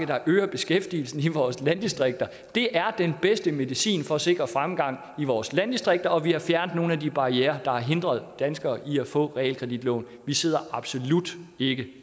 der øger beskæftigelsen i vores landdistrikter det er den bedste medicin for at sikre fremgang i vores landdistrikter og vi har fjernet nogle af de barrierer der har hindret danskerne i at få realkreditlån vi sidder absolut ikke